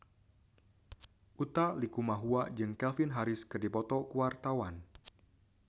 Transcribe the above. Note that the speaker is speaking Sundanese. Utha Likumahua jeung Calvin Harris keur dipoto ku wartawan